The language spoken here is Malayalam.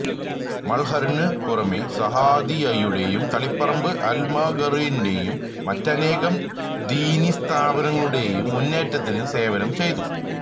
മള്ഹറിനു പുറമെ സഅദിയ്യയുടെയും തളിപ്പറമ്പ് അല്മഖറിന്റെയും മറ്റനേകം ദീനിസ്ഥാപനങ്ങളുടെയും മുന്നേറ്റത്തിന് സേവനം ചെയ്തു